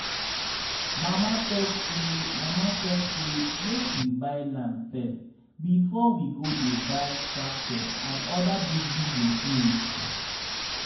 mama talk say mama talk say make we buy land first before we go dey buy tractor and other big-big machines.